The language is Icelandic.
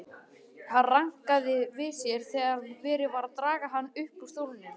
Hann rankaði við sér þegar verið var að draga hann upp úr stólnum.